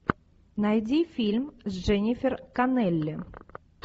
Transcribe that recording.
найди фильм с дженнифер коннелли